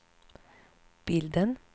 bilden